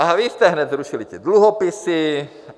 A vy jste hned zrušili ty dluhopisy.